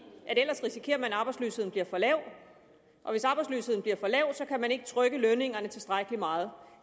ellers risikerer man at arbejdsløsheden bliver for lav og hvis arbejdsløsheden bliver for lav kan man ikke trykke lønningerne tilstrækkelig meget